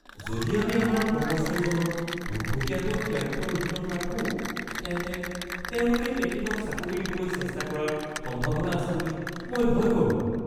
যদি আমি আমাৰ কৰ্মচাৰীজনক পোনপটীয়াকৈ ক্লায়েণ্টৰ অধীনত ৰাখোঁ তেন্তে তেওঁলোকে তেখেতক চাকৰি দিবলৈ চেষ্টা কৰাৰ সম্ভাৱনা আছে বুলি মই ভয় কৰোঁ।